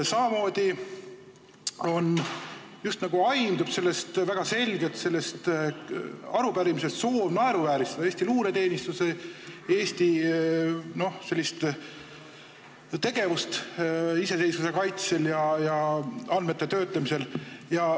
Samamoodi aimdub sellest arupärimisest justnagu soov naeruvääristada Eesti luureteenistust, Eesti tegevust iseseisvuse kaitsel ja andmete töötlemisel.